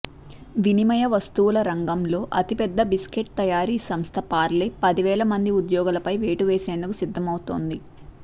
వినిమయ వస్తువుల రంగంలో అతిపెద్ద బిస్కట్ తయారీ సంస్థ పార్లే పదివేల మంది ఉద్యోగులపై వేటు వేసేందుకు సిద్ధమవుతోంది